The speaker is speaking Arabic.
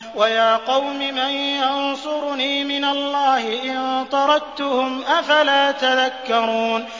وَيَا قَوْمِ مَن يَنصُرُنِي مِنَ اللَّهِ إِن طَرَدتُّهُمْ ۚ أَفَلَا تَذَكَّرُونَ